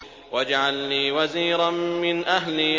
وَاجْعَل لِّي وَزِيرًا مِّنْ أَهْلِي